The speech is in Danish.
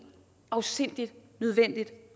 afsindig nødvendigt